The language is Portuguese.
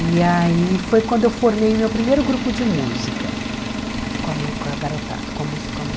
E aí foi quando eu formei meu primeiro grupo de música, com a mo com a garotada, com a moça com a moça